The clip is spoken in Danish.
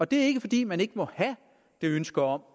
det er ikke fordi man ikke må have det ønske om